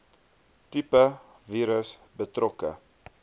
tipe virus betrokke